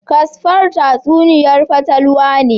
Casper tatsuniya'n fatalwa ne.